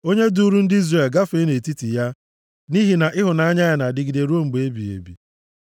Onye duuru ndị Izrel gafee nʼetiti ya, nʼihi na ịhụnanya ya na-adịgide ruo mgbe ebighị ebi.